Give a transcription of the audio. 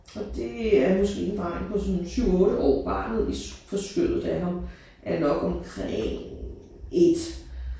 Og det er måske en dreng på sådan 7 8 år. Barnet i på skødet af ham er nok omkring 1